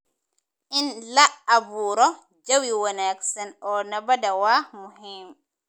In la abuuro jawi wanaagsan oo nabadda waa muhiim.